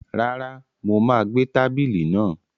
Rárá, mo má gbé tábìlì náà